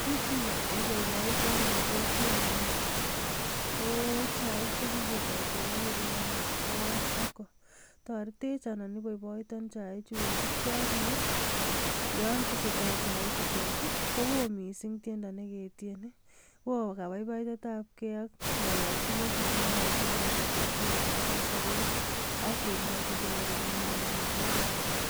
Kit neiboiboitoon rn kokwenyuun ko chaik chekiketoo cheboo Sacco, toretech anan iboiboitoon chaichu kosiibgee ak neeyon tesetai chai chutet I,kowo missing tiendoo neketienii. Woi kabaibaitetab gee ak ngololchinet nekingolochingee bik akobo sobet ak kemwochingee